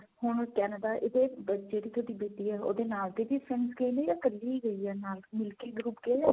ਹੁਣ Canada ਇਹਦੇ ਜਿਹੜੀ ਤੁਹਾਡੀ ਬੇਟੀ ਹੈ ਉਹਦੇ ਨਾਲ ਦੇ ਵੀ friends ਗਏ ਨੇ ਜਾ ਇੱਕਲੀ ਗਈ ਏ ਨਾਲ ਮਿਲ ਕੇ group ਗਿਆ ਜਾਂ.